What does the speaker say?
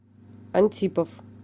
антипов